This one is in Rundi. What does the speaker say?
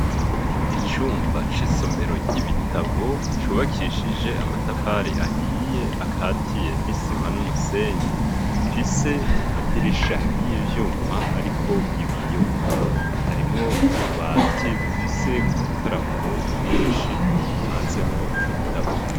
Icumba c'isomero ry'ibitabo cubakishije amatafari ahiye akatiye n'isima n'umusenyi, gifise amadirisha y'ivyuma ariko ibiyo, harimwo ububati bufise ubutaramuro bwinshi hanzemwo ibitabo.